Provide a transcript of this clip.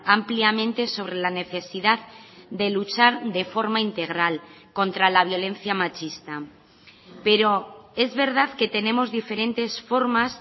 ampliamente sobre la necesidad de luchar de forma integral contra la violencia machista pero es verdad que tenemos diferentes formas